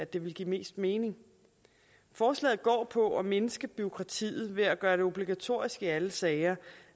det ville give mest mening forslaget går på at mindske bureaukratiet ved at gøre det obligatorisk i alle sager